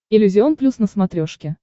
иллюзион плюс на смотрешке